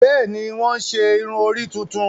Bẹẹni, wọn ṣe irun-ori tuntun